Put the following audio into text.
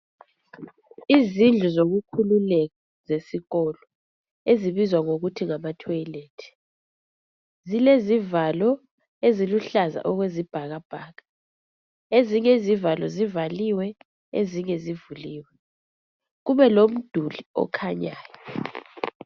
Izindlu zokukhululeka zesikolo ezibizwa ngokuthi ngama thoyilethi zile zivalo eziluhlaza okwesibhakabhaka ezinye izivalo zivaliwe ezinye zivuliwe kube lomduli okhanyayo.